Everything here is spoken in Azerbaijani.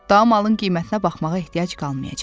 Daha malın qiymətinə baxmağa ehtiyac qalmayacaq.